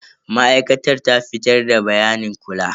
Masana'antar ta fitar da bayanin kula.